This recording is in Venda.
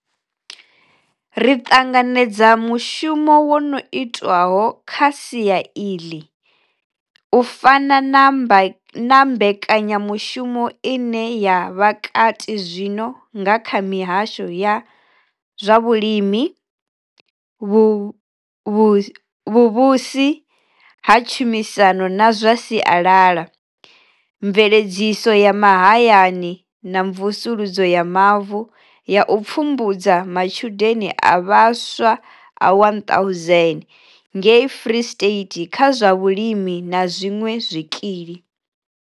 Ri ṱanganedza mushumo wo no itwaho kha sia iḽi, u fana na mbekanya mushumo ine ya vha kati zwino nga kha mihasho ya zwa Vhulimi, Vhuvhusi ha Tshumisano na zwa Sialala, Mveledziso ya Mahayani na Mvusuludzo ya Mavu ya u pfumbudza matshudeni a vhaswa a 1,000 ngei Free State kha zwa vhulimi na zwiṅwe zwikili.